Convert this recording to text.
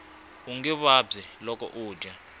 unge vabyi loko u dya